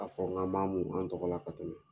k'a fɔ k'an b'a mun an tɔgɔ la ka tɛmɛ